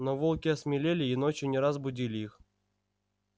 но волки осмелели и ночью не раз будили их